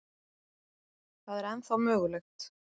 Það er ennþá mögulegt.